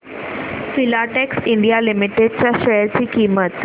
Filatex India limited च्या share ची किंमत